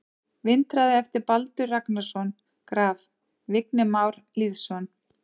Vindhraði eftir Baldur Ragnarsson Graf: Vignir Már Lýðsson